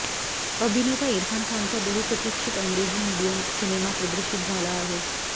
अभिनेता इरफान खानचा बहुप्रतिक्षित अंग्रेजी मीडियम सिनेमा प्रदर्शित झाला आहे